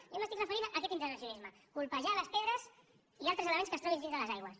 jo m’estic referint a aquest intervencionisme colpejar les pedres i altres elements que es trobin dins de les aigües